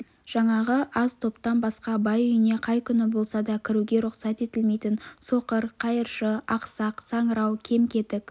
жаңағы аз топтан басқа бай үйіне қай күні болса да кіруге рұқсат етілмейтін соқыр қайыршы ақсақ саңырау кем-кетік